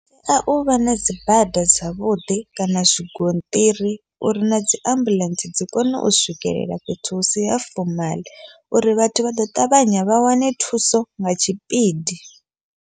Hu tea uvha na dzibada dzavhuḓi, kana zwigonṱiri uri na dziambuḽentse dzi kone u swikelela fhethu husi ha fomaḽa uri vhathu vha ḓo ṱavhanya vha wane thuso nga tshipidi.